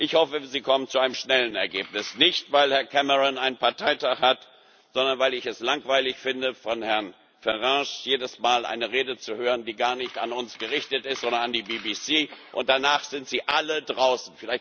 Ich hoffe, Sie kommen zu einem schnellen Ergebnis nicht, weil Herr Cameron einen Parteitag hat, sondern weil ich es langweilig finde, von Herrn Farage jedes Mal eine Rede zu hören, die gar nicht an uns gerichtet ist, sondern an die BBC, und danach sind sie alle draußen.